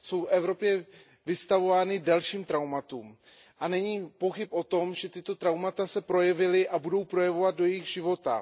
Jsou v Evropě vystavováni dalším traumatům a není pochyb o tom, že tato traumata se projevila a budou projevovat do jejich života.